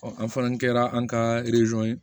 an fana kɛra an ka ye